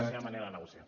la seva manera de negociar